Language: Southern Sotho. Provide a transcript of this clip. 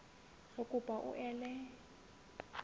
re kopa hore o ele